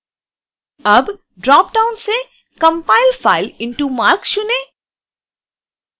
अब drop down से compile file into marc चुनें